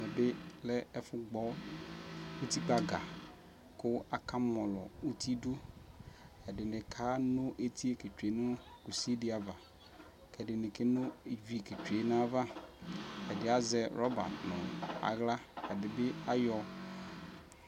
ɛmɛ bi lɛ ɛfo gbɔ utikpa ga ko aka mɔlɔ uti do edi ni ke no etie ke tsue no kusi di ava ko ɛdi ni ke no ivi ke tsue no ava ɛdi ni azɛ rɔba no ala ɛdi ni bi ayɔ